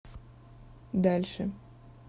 дальше